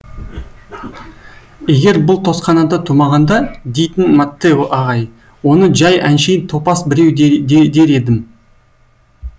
егер бұл тосканада тумағанда дейтін маттео ағай оны жай әншейін топас біреу дер едім